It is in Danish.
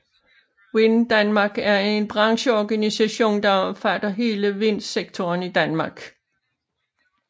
Wind Denmark er en brancheorganisation der omfatter hele vindsektoren i Danmark